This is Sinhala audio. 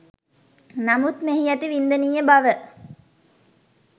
නමුත් මෙහි ඇති වින්දනීය බව